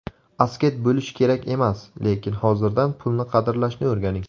Asket bo‘lish kerak emas, lekin hozirdan pulni qadrlashni o‘rganing.